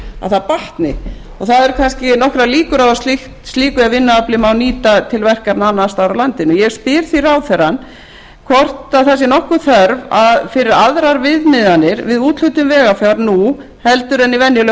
að það batni það eru kannski nokkrar líkur á að slíkt vinnuafl megi nýta til verkefna annars staðar á landinu ég spyr því ráðherrann hvort það sé nokkur þörf fyrir aðrar viðmiðanir við úthlutun vegafjár nú heldur en í venjulegu